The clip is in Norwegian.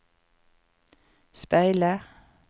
speile